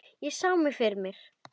Ég sá mig fyrir mér.